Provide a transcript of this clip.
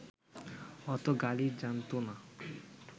অত গালি জানতো না